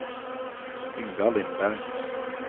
Yngvar Lindberg